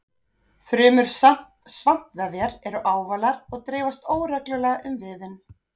Frumur svampvefjar eru ávalar og dreifast óreglulega um vefinn.